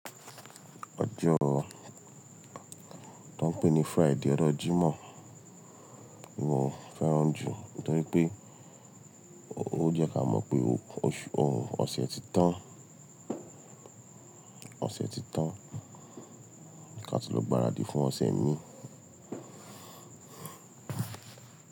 Ọjọ́ tó ń pè ní Friday, ọjọ́ Jímọ̀ ni mo fẹ́ràn jù nítorí pé ó jẹ́ ká mọ̀ pé ose ti tan, ọ̀sẹ̀ ti tán, ká ti lọ gbáradì fún ọ̀sẹ̀ míì.